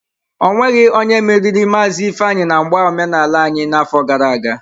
Ọ nweghi onye meriri Maazi Ifeanyi na mgba omenala anyi n'afo gara aga.